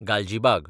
Galgibag